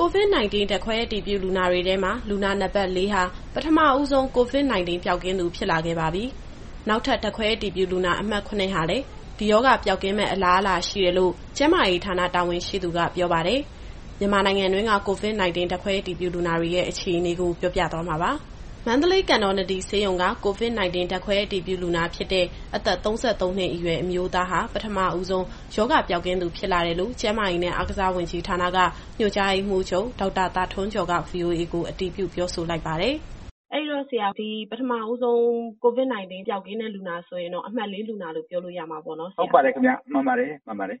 COVID-19 ဓာတ်ခွဲအတည်ပြုလူနာတွေထဲမှာ လူနာနံပါတ် ၄ ဟာ ပထမဆုံး COVID-19 ပျောက်ကင်းသူဖြစ်လာပါပြီ။ နောက်ထပ် ဓာတ်ခွဲအတည်ပြုလူနာ အမှတ် ၇ ဟာလည်း ဒီရောဂါပျောက်ကင်းမယ့် အလားအလာရှိနေတယ်လို့ ကျန်းမာရေးဌာန တာဝန်ရှိသူကပြောပါတယ်။ မြန်မာနိုင်ငံတွင်းက COVID-19 ဓာတ်ခွဲအတည်ပြုလူနာတွေရဲ့ အခြေအနေကို ဗွီအိုအေသတင်းထောက် စုစုကမေးမြန်း စုံစမ်းထားပါတယ်။ မန္တလေးကန်တော်နဒီဆေးရုံက COVID-19 ဓာတ်ခွဲအတည်ပြုလူနာဖြစ်တဲ့ အသက် ၃၃ နှစ်အရွယ် အမျိုးသားဟာ ပထမဦးဆုံး ရောဂါပျောက်ကင်းသူ ဖြစ်လာတယ်လို့ ကျန်းမာရေးနဲ့ အားကစားဝန်ကြီးဌာနက ညွှန်ကြားရေးမှူးချုပ် ဒေါက်တာသာထွန်းကျော်က ဗွီအိုအေကို အတည်ပြုပြောဆိုလိုက်ပါတယ်။ အဲဒီတော့ဆရာ ဒီပထမဦးဆုံး COVID-19 ပျောက်ကင်းတဲ့ လူနာက အမှတ် ၄ လူနာလို့ ပြောလို့ရမှာပေါ့နော်။ ဟုတ်ပါတယ်ခင်ဗျ။ မှန်ပါတယ် မှန်ပါတယ်။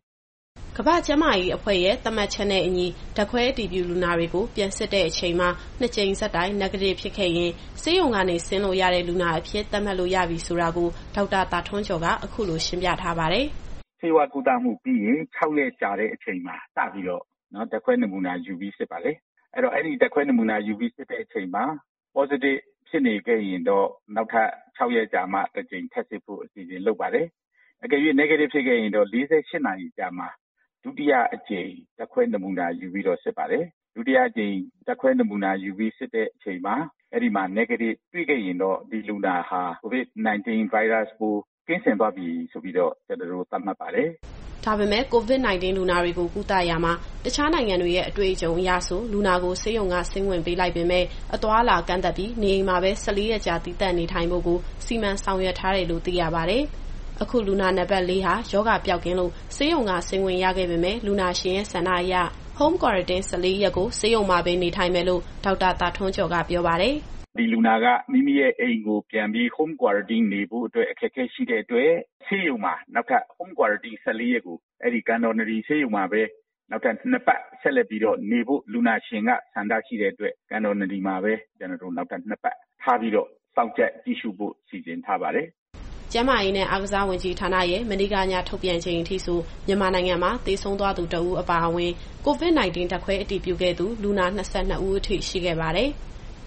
ကမ္ဘာ့ကျန်းမာရေးအဖွဲ့ရဲ့ သတ်မှတ်ချက်နဲ့အညီ ဓာတ်ခွဲအတည်ပြုလူနာတွေကို ပြန်စစ်တဲ့အချိန်မှာ နှစ်ကြိမ်ဆက်တိုက် Negative ဖြစ်ခဲ့ရင် ဆေးရုံကနေ ဆင်းလို့ရတဲ့ လူနာအဖြစ်သတ်မှတ်လို့ရပြီဆိုတာကို ဒေါက်တာသာထွန်းကျော်က အခုလိုရှင်းပြထားပါတယ်။ “ဆေးဝါးကုသမှုပြီးရင် ၆ ရက်ကြာတဲ့အချိန်မှာ စပြီးတော့ ဓာတ်ခွဲနမူနာယူပြီး စစ်တယ်။ အဲဒီဓာတ်ခွဲနမူနာ ယူပြီးစစ်တဲ့အချိန်မှာ Positive ဖြစ်နေခဲ့ရင် နောက်ထပ် ၆ ရက်ကြာမှ ထပ်စစ်ဖို့အစီအစဉ်လုပ်တယ်။ ဒါပေမဲ့ Negative ဖြစ်ခဲ့ရင်တော့ ၄၈ နာရီအကြာမှာ ဒုတိယအကြိမ် ဓာတ်ခွဲနမူနာယူပြီးတော့ စစ်ပါတယ်။ ဒုတိယအကြိမ် ဓာတ်ခွဲနမူနာယူပြီး စစ်တဲ့အချိန်မှာ Negative တွေ့ခဲ့ရင်တော့ ဒီလူနာဟာ COVID-19 ဗိုင်းရပ်စ်ပိုး ကင်းစင်သွားပြီဆိုပြီးတော့ ကျနော်တို့ သတ်မှတ်ပါတယ်။” ဒါပေမဲ့ COVID-19 လူနာတွေကို ကုသရာမှာ တခြားနိုင်ငံတွေရဲ့ အတွေ့အကြုံအရဆို လူနာကို ဆေးရုံကနေ ဆင်းခွင့်ပေးလိုက်ပေမဲ့ အသွားအလာကန့်သတ်ပြီး နေအိမ်မှာပဲ ၁၄ရက်ကြာ သီးသန့်နေထိုင်ဖို့ကို စီမံဆောင်ရွက်ထားတယ်လို့ သိရပါတယ်။ အခု လူနာနံပါတ် ၄ ဟာ ရောဂါပျောက်ကင်းလို့ ဆေးရုံကဆင်းခွင့်ရပေမယ့် လူနာရှင်ရဲ့ဆန္ဒအရ Home Quarantine ၁၄ ရက်ကို ဆေးရုံမှာပဲ နေထိုင်မယ်လို့ ဒေါက်တာသာထွန်းကျော်က ပြောပါတယ်။ “ဒီလူနာက မိမိရဲ့အိမ်ကိုပြန်ပြီး Home Quarantine နေဖို့ အခက်အခဲရှိတဲ့အတွက် ဆေးရုံမှာပဲ နောက်ထပ် Home Quarantine နှစ်ပတ်ကို အဲဒီကန်တော်နဒီဆေးရုံမှာပဲနေဖို့ လူနာရှင်ကဆန္ဒရှိတဲ့အတွက် ကန်တော်နဒီမှာပဲ ကျနော်တို့ နောက်ထပ်နှစ်ပတ်ထားပြီးတော့ စောင့်ကြပ်ကြည့်ရှုဖို့ စီစဉ်ထားပါတယ်။”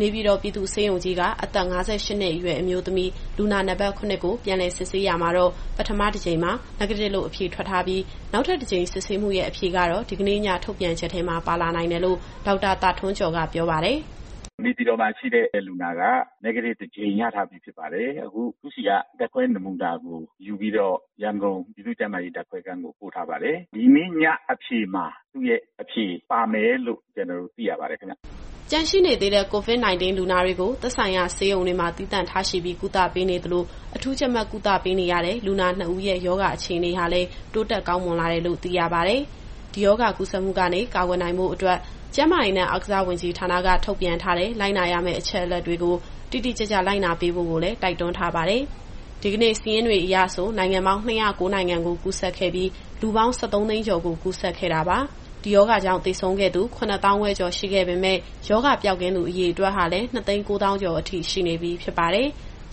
နေပြည်တော်ပြည်သူ့ဆေးရုံကြီးက အသက် ၅၈နှစ်အရွယ် အမျိုးသမီး လူနာနံပါတ် ၇ ကို ပြန်လည်စစ်ဆေးရာမှာတော့ ပထမအကြိမ်မှာ Negative လို့ အဖြေထွက်ထားပြီး နောက်ထပ်တကြိမ်စစ်ဆေးမှုရဲ့ အဖြေကတော့ ဒီကနေ့ည ထုတ်ပြန်ချက်ထဲမှာ ပါလာနိုင်တယ်လို့ ဒေါက်တာသာထွန်းကျော်က ပြောပါတယ်။ “နေပြည်တော်မှာရှိတဲ့လူနာက Negative တကြိမ်ရထားပြီးဖြစ်ပါတယ်။ အခုသူ့ဆီက ဓာတ်ခွဲနမူနာကိုယူပြီးတော့ ရန်ကုန်ပြည်သူ့ကျန်းမာရေး ဓာတ်ခွဲခန်းကို ပို့ထားပါတယ်။ ဒီနေ့ညအဖြေမှာ သူ့ရဲ့အဖြေပါမယ်လို့ ကျနော်တို့သိရပါတယ်ခင်ဗျ။” ကျန်ရှိနေသေးတဲ့ COVID-19 လူနာတွေကို သက်ဆိုင်ရာဆေးရုံတွေမှာ သီးသန့်ထားရှိပြီးကုသပေးနေသလို၊ အထူးကြပ်မတ်ကုသပေးနေရတဲ့ လူနာနှစ်ဦးရဲ့ ရောဂါအခြေအနေဟာလည်း တိုးတက်ကောင်းမွန်လာတယ်လို့ သိရပါတယ်။ ဒီရောဂါကူးစက်မှုကနေ ကာကွယ်နိုင်ဖို့အတွက် ကျန်းမာရေးနဲ့ အားကစားဝန်ကြီးဌာနက ထုတ်ပြန်ထားတဲ့ လိုက်နာရမယ့်အချက်တွေကို တိတိကျကျ လိုက်နာပေးဖို့ကိုလည်း တိုက်တွန်းထားပါတယ်။ ဒီကနေ့စာရင်းတွေအရ နိုင်ငံပေါင်း၂၀၉ နိုင်ငံကို ကူးစက်ခဲ့ပြီး လူပေါင်း ၁၃ သိန်းကျော်ကို ကူးစက်ခဲ့တာပါ။ ဒီရောဂါကြောင့် သေဆုံးသူ ၇၅,၀၀၀ ကျော်ရှိခဲ့ပေမယ့် ရောဂါပျောက်ကင်းသူ အရေအတွက်ဟာလည်း ၂၉၀,၀၀၀ ကျော်ထိ ရှိနေပြီဖြစ်ပါတယ်။